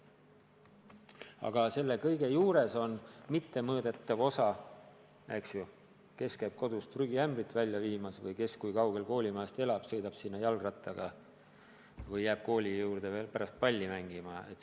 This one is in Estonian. Aga selle kõige juures on ka mittemõõdetav osa: kes käib kodus prügiämbrit välja viimas või kes kui kaugel koolimajast elab, kes sõidab sinna jalgrattaga või jääb kooli juurde veel pärast palli mängima.